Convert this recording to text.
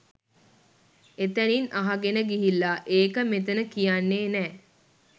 එතැනින් අහගෙන ගිහිල්ලා ඒක මෙතැන කියන්නේ නෑ